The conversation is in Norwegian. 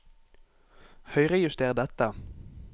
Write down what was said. Høyrejuster dette